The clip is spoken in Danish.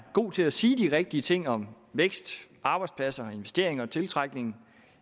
god til at sige de rigtige ting om vækst arbejdspladser investeringer og tiltrækning